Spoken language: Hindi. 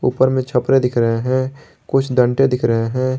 उपर मैं छपरा दिख रहे हैं कुछ डंडे दिख रहे हैं।